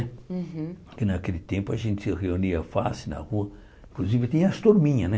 Uhum Porque naquele tempo a gente se reunia fácil na rua, inclusive tinha as turminhas, né?